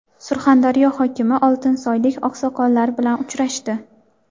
Surxondaryo hokimi oltinsoylik oqsoqollar bilan uchrashdi.